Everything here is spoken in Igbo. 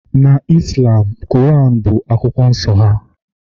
na Islam, Quran bụ akwụkwọ nsọ ha